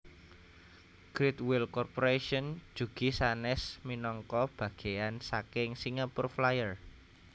Great Wheel Corporation jugi sanes minangka bageyan saking Singapore Flyer